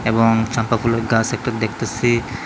এবং চাঁপা ফুলের গাস একটা দেখতাসি।